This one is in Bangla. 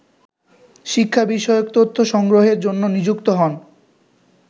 শিক্ষা বিষয়ক তথ্য সংগ্রহরের জন্য নিযুক্ত হন